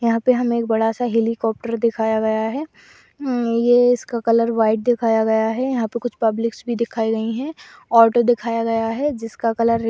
यहाँ पे हमें एक बड़ा सा हेलिकॉप्टर दिखाया गया है। ये इसका कलर व्हाइट दिखाया गया है। यहाँ पे कुछ पब्लिकस भी दिखाई गई है ऑटो दिखाया गया है। जिसका कलर री --